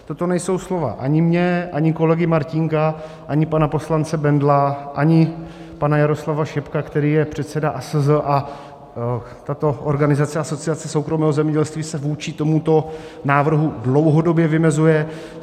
Toto nejsou slova ani má, ani kolegy Martínka, ani pana poslance Bendla, ani pana Jaroslava Šebka, který je předsedou ASZ, a tato organizace Asociace soukromého zemědělství se vůči tomuto návrhu dlouhodobě vymezuje.